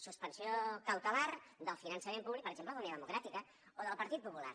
suspensió cautelar del finançament públic per exemple d’unió democràtica o del partit popular